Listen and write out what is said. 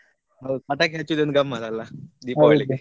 ಹೌದ್ ಪಟಾಕಿ ಹಚ್ಚುದೊಂದು ಗಮ್ಮತಲಾ ದೀಪಾವಳಿಗೆ .